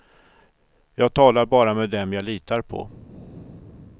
Jag talar bara med dem jag litar på.